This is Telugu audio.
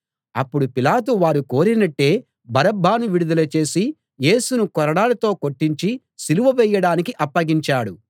అప్పుడు పిలాతు వారు కోరినట్టే బరబ్బను విడుదల చేసి యేసును కొరడాలతో కొట్టించి సిలువ వేయడానికి అప్పగించాడు